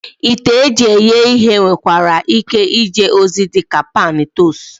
Ite eji eghe ihe nwekwara ike ije ozi dị ka pan tostu